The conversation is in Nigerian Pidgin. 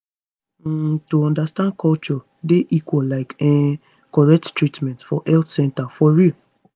um to understand culture dey equal like um correct treatment for health center for real